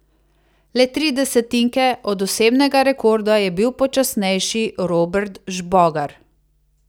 Le tri desetinke od osebnega rekorda je bil počasnejši Robert Žbogar.